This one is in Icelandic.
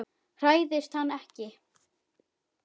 Hræðist hann ekki.